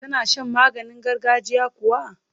Ka na shan maganin gargajiya kuwa?